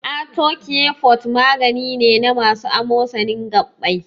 Arthocare forte magani ne na masu amosanin gaɓɓai.